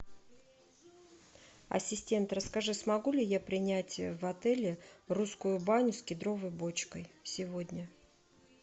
ассистент расскажи смогу ли я принять в отеле русскую баню с кедровой бочкой сегодня